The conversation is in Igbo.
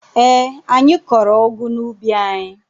Eé, anyị kọrọ ụgụ n'ubi anyị.